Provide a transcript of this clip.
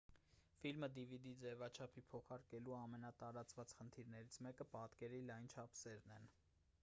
ֆիլմը dvd ձևաչափի փոխարկելու ամենատարածված խնդիրներից մեկը պատկերի լայն չափսերն են